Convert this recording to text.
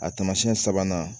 A taamasiyɛn sabanan